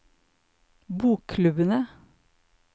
bokklubbene